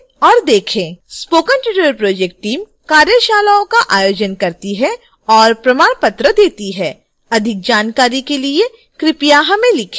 spoken tutorial project team कार्यशालाओं का आयोजन करती है और प्रमाण पत्र देती है अधिक जानकारी के लिए कृपया हमें लिखें